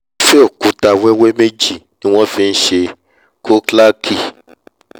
irúfẹ́ òkúta wẹ́wẹ́ méjì ni wọ́n fi nṣe khoklaki